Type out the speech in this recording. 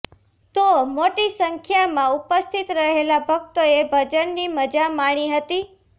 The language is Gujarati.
તો મોટી સંખ્યામાં ઉપસ્થિત રહેલા ભક્તોએ ભજનની મજા માણી હતી